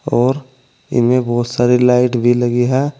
और इनमें बहुत सारी लाइट भी लगी है।